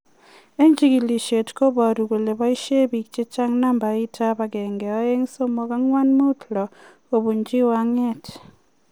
En chikilisiet kobaru kole boisien piik chechang nambait ab 123456 kobunji wungat